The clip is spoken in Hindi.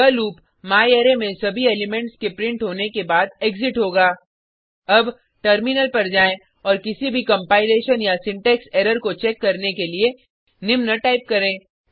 यह लूप म्यारे में सभी एलिमेंट्स के प्रिंट होने के बाद एग्जिट होगा अब टर्मिनल पर जाएँ औऱ किसी भी कंपाइलेशन या सिंटेक्स एरर को चेक करने के लिए निम्न टाइप करें